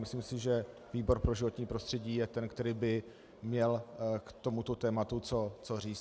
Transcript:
Myslím si, že výbor pro životní prostředí je ten, který by měl k tomuto tématu co říct.